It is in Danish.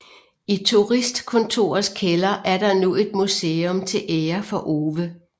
I turistkontorets kælder er der nu et museum til ære for Ove